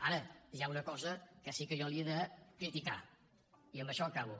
ara hi ha una cosa que sí que jo li he de criticar i amb això acabo